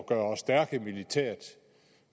er også derfor